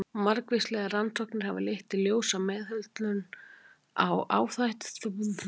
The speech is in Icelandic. Margvíslegar rannsóknir hafa leitt í ljós að meðhöndlun áhættuþátta skilar árangri.